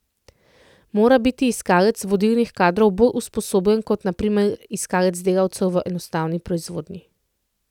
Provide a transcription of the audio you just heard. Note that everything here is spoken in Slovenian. Mora biti iskalec vodilnih kadrov bolj usposobljen kot na primer iskalec delavcev v enostavni proizvodnji?